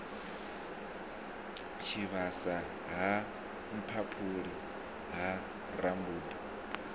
tshivhasa ha mphaphuli ha rambuḓa